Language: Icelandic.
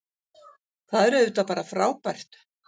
Það er auðvitað bara frábært